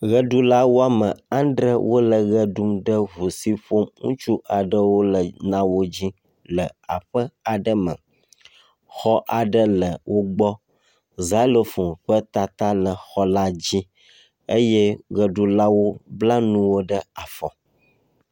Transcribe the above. Ʋeɖula wome adre wole ʋe ɖum ɖe ŋu si ƒom ŋutsu aɖewo na wo le la dzi le aƒe aɖe me. Xɔ aɖe le wo gbɔ. Zialofoŋ ƒe tata le xɔ la dzi eye ʋeɖulawo bla nu ɖe afɔ.